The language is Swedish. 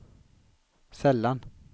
sällan